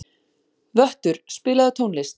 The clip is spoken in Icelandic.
Vöttur, spilaðu tónlist.